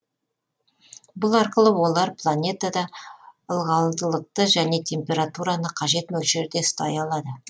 бұл арқылы олар планетада ылғалдылықты және температураны қажет мөлшерде ұстай алады